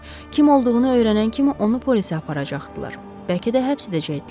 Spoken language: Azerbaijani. Kim olduğunu öyrənən kimi onu polisə aparacaqdılar, bəlkə də həbs edəcəkdilər.